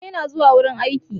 Baba yana zuwa wurin aiki.